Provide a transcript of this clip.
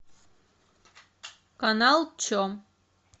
канал че